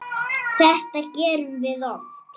Þetta gerum við oft.